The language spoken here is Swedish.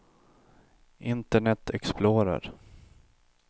internet explorer